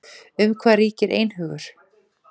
Um hvað ríkir einhugur?